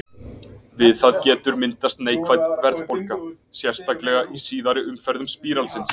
Við það getur myndast neikvæð verðbólga, sérstaklega í síðari umferðum spíralsins.